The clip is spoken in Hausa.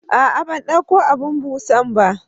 ah ah bandauko abun busanba